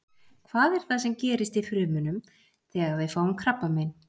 hvað er það sem gerist í frumunum þegar við fáum krabbamein